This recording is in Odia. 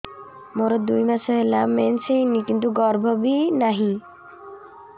ମୋର ଦୁଇ ମାସ ହେଲା ମେନ୍ସ ହେଇନି କିନ୍ତୁ ଗର୍ଭ ବି ନାହିଁ